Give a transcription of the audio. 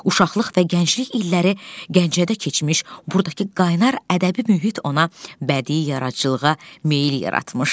Uşaqlıq və gənclik illəri Gəncədə keçmiş, burdakı qaynar ədəbi mühit ona bədii yaradıcılığa meyil yaratmışdı.